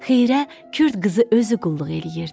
Xeyirə Kürd qızı özü qulluq eləyirdi.